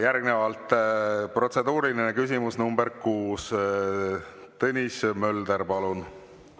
Järgnevalt protseduuriline küsimus nr 6, Tõnis Mölder, palun!